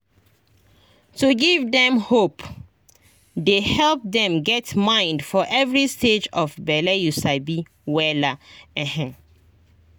to give dem hope dey help dem get mind for every stage of bele you sabi wella ehn